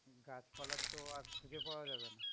গাছপালার তো আর খুঁজে পাওয়া যাবে না।